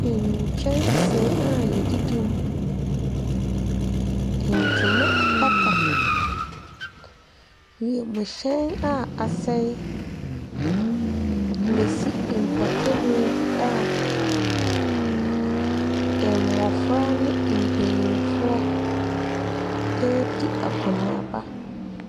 Nkyɛnsee a yɛdidi mu. Ntoma apata. Wiemhyɛn a asɛe na esi mpɔtamu bi a mmofra ne mpanyimfoɔ redi akɔneaba.